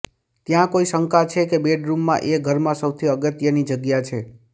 ત્યાં કોઈ શંકા છે કે બેડરૂમ એ ઘરમાં સૌથી અગત્યની જગ્યા છે